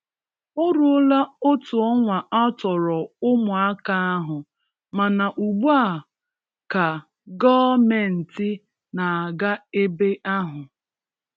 O ruola otu ọnwa atọrọ ụmụaka ahụ, mana ugbu a ka Gọọmenti na-aga ebe ahụ.